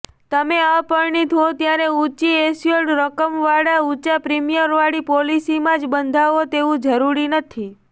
તમે અપરિણીત હો ત્યારે ઊંચી એસ્યોર્ડ રકમવાળા ઊંચા પ્રીમિયમવાળી પોલિસીમાં જ બંધાવો તેવું જરૂરી નથી